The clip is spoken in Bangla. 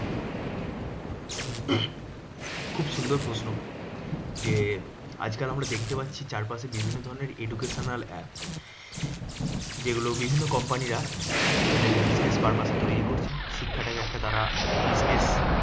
খুব সুন্দর প্রশ্ন যে আজকাল আমরা দেখতে পাচ্ছি চারপাশে বিভিন্ন ধরণের educational app. যেগুলো বিভিন্ন company রা তাদের business purpose এ তৈরী করছে শিক্ষাটাকে একটা তারা business